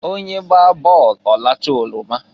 Onye gbaa bọọlụ ọlachaa oroma.